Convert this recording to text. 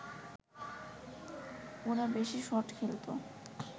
ওরা বেশি শট খেলতে